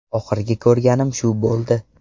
Oxirgi ko‘rganim shu bo‘ldi.